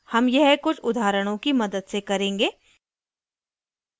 हम यह कुछ उदाहरणों की मदद से करेंगे